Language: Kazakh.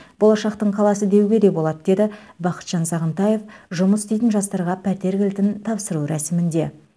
болашақтың қаласы деуге де болады деді бақытжан сағынтаев жұмыс істейтін жастарға пәтер кілтін тапсыру рәсімінде